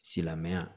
Silamɛya